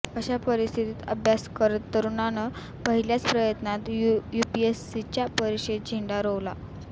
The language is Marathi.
अशा परिस्थितीत अभ्यास करत तरूणानं पहिल्याच प्रयत्नात युपीएसीच्या परिक्षेत झेंडा रोवला